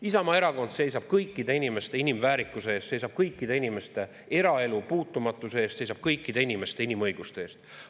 Isamaa Erakond seisab kõikide inimeste inimväärikuse eest, seisab kõikide inimeste eraelu puutumatuse eest, seisab kõikide inimeste inimõiguste eest.